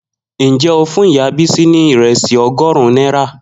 Njẹ o fún ìyá Bisi ni iresi ọgọrun nera?